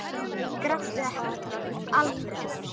Gráttu ekki, Alfreð!